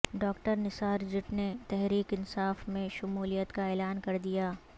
doctor Nisar Jatt نے تحریک انصاف میں شمولیت کا اعلان کردیا